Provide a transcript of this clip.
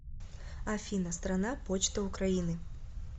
афина страна почта украины